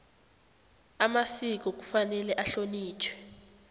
amasiko kufanele ahlonitjhwe